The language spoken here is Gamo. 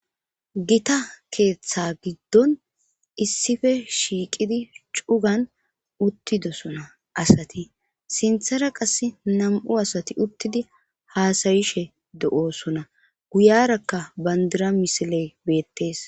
Gita keeththa giddon issife shiiqidi cugan uttidosona asati sinthara qass nam'u asati uttidi haasayishe de'oosona guyarakka bandira misile beettees.